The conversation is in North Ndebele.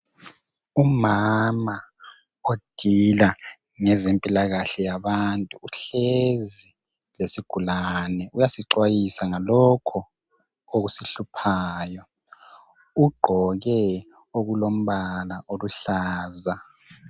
Umama odila ngezempilakahle yabantu, uhlezi lesigulane. Uyasixwayisa ngalokho okusihluphayo. Ugqoke okulombala oluhlaza.